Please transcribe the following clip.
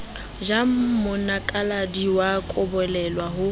ja monakaladi wa kobolelwa ho